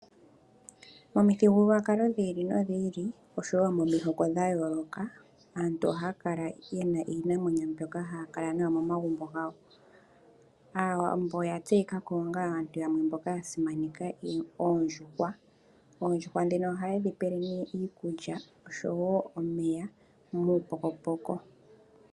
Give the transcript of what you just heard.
Momithigululwakalo dhi ili nodhi ili osho woo momihoko dhayooloka aantu oha ya kala ye na iinamwenyo mbyoka ha ya kala nayo momagumbo gawo. Aawambo oya tseyika ko ongaa aantu yamwe mboka ya simaneka Oondjuhwa. Oondjuhwa dhino oha ye dhi pele nee iikulya osho woo omeya muupokopoko.